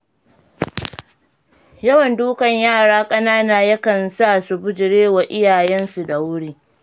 Yawan dukan yara ƙanana ya kan sa su bijirewa iyayensu da wuri.